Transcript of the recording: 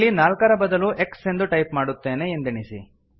ಇಲ್ಲಿ ನಾಲ್ಕರ ಬದಲು ಎಕ್ಸ್ ಎಂದು ಟೈಪ್ ಮಾಡುತ್ತೇವೆ ಎಂದೆಣಿಸಿ